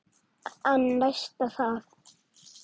En næst það?